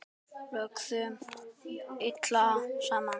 Lögðum iljar saman.